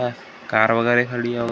Car वगैरा खड़ी है ।